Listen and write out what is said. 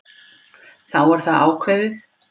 Þá er það ákveðið.